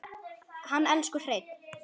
Hann elsku Hreinn.